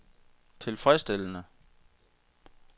tilfredsstillende